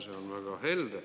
See on väga helde.